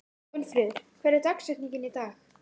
En hvað er átt við með að vera verr settur?